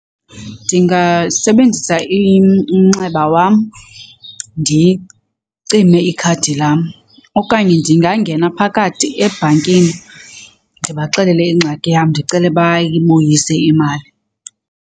Ndingasebenzisa umnxeba wam ndicime ikhadi lam okanye ndingangena phakathi ebhankini ndibaxelele ingxaki yam ndicele bayibuyise imali.